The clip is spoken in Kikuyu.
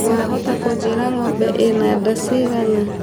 wahota kũnjiĩra ngombe ĩna ndaa cigana